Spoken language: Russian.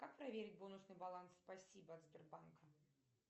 как проверить бонусный баланс спасибо от сбербанка